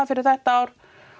fyrir þetta ár